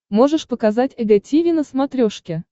можешь показать эг тиви на смотрешке